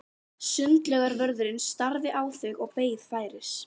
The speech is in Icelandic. Sundlaugarvörðurinn starði á þau og beið færis.